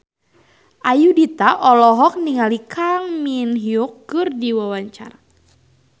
Ayudhita olohok ningali Kang Min Hyuk keur diwawancara